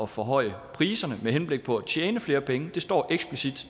forhøje priserne med henblik på at tjene flere penge det står eksplicit